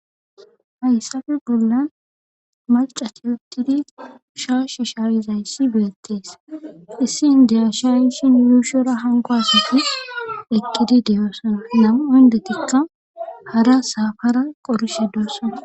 Hayssafe bollan malcat yottidi shaashi shaayizayssi beettees issin deya shayishin yuushora hanko asafi eqqidi deyoosona nam7o hndetikka hara saafara qorishedosana.